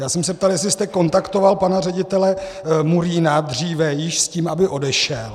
Já jsem se ptal, jestli jste kontaktoval pana ředitele Murína dříve již s tím, aby odešel.